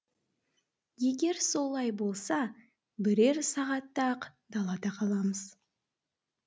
егер солай болса бірер сағатта ақ далада қаламыз